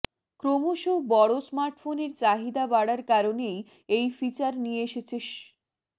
ক্রমশ বড় স্মার্টফোনের চাহিদা বাড়ার কারণেই এই ফিচার নিয়ে এসেছে স্